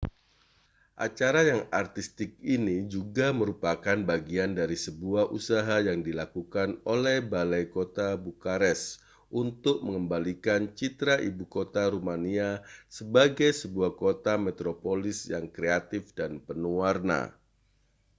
acara yang artistik ini juga merupakan bagian dari sebuah usaha yang dilakukan oleh balai kota bukares untuk mengembalikan citra ibu kota rumania sebagai sebuah kota metropolis yang kreatif dan penuh warna